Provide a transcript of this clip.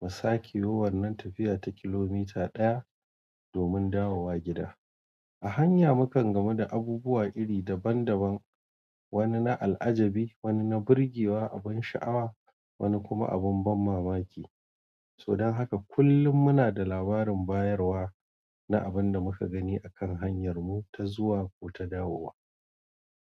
mu sakeyiwo wannan tafiya ta kilomita ɗaya domin dawowa gida. A hanya mukan gama da abubuwa iri daban daban, wani na al'ajabi, wani na burgewa, abin sha'awa, wani kuma abin ban mamaki. So dan haka kullum munada labarin bayarwa. Na abinda muka gani a kan hanyar mu ta zuwa kota dawowa.